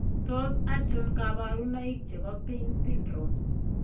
Tos achon kabarunaik chebo Paine syndrome ?